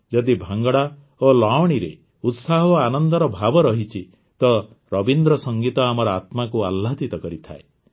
ଯଦି ଭାଙ୍ଗଡ଼ା ଓ ଲାୱଣିରେ ଉତ୍ସାହ ଓ ଆନନ୍ଦର ଭାବ ରହିଛି ତ ରବୀନ୍ଦ୍ର ସଂଗୀତ ଆମର ଆତ୍ମାକୁ ଆହ୍ଲାଦିତ କରିଥାଏ